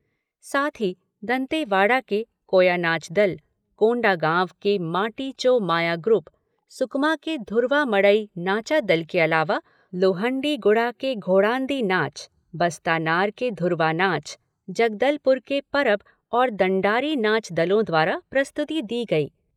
साथ ही दंतेवाड़ा के कोयानाच दल, कोंडागांव के माटी चो माया ग्रुप, सुकमा के धुरवा मड़ई नाचा दल के अलावा लोहंडीगुड़ा के घोड़ान्दी नाच, बस्तानार के धुरवा नाच, जगदलपुर के परब और दंडारी नाच दलों द्वारा प्रस्तुति दी गई।